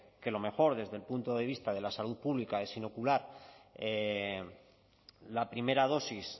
que lo mejor desde el punto de vista de la salud pública es inocular la primera dosis